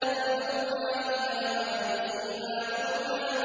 فَأَوْحَىٰ إِلَىٰ عَبْدِهِ مَا أَوْحَىٰ